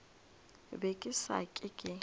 be ke sa ke ke